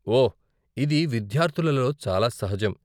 ఓ, ఇది విద్యార్ధులలో చాలా సహజం.